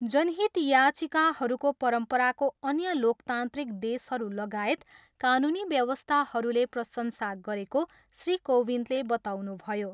जनहित याचिकाहरूको परम्पराको अन्य लोकतान्त्रिक देशहरू लागायत कानुनी व्यवस्थाहरूले प्रशंसा गरेको श्री कोविन्दले बताउनुभयो।